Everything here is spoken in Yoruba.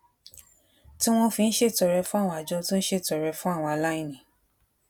tí wón fi ń ṣètọrẹ fún àwọn àjọ tó ń ṣètọrẹ fún àwọn aláìní